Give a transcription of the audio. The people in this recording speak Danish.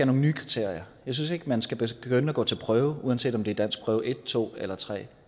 nogen nye kriterier jeg synes ikke at man skal begynde at gå til prøve uanset om det er danskprøve en to eller tredje